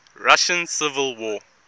russian civil war